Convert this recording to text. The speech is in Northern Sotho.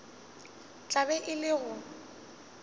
tla be e le go